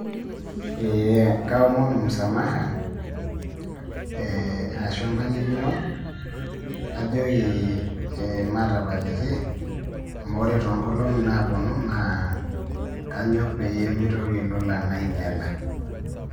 Eh kaomonu msamaha, arashu embalikino, najoki maatapaliki, amu wore toonkolongi naaponu naa kanyok peyie mitoki ilolan ainyiala.